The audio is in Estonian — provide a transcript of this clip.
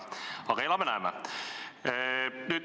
Aga elame-näeme!